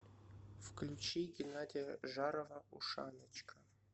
включи геннадия жарова ушаночка